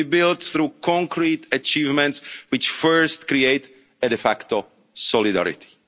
plan. It will be built through concrete achievements which first create a de facto solidarity.'